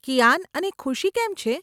કિયાન અને ખુશી કેમ છે?